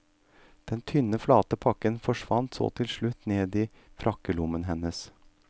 Den tynne, flate pakken forsvant så til slutt ned i frakkelommen hennes.